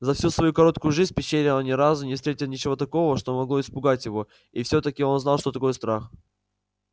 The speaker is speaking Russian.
за всю свою короткую жизнь в пещере он ни разу не встретил ничего такого что могло испугать его и все таки он знал что такое страх